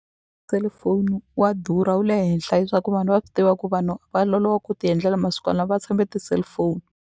Cell phone wa durha wu le henhla hi swa ku vanhu va swi tiva ku vanhu va loloha ku ti endlela masikwana lawa va tshembe ti-cellphone.